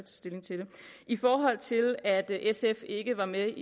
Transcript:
stilling til det i forhold til at sf ikke var med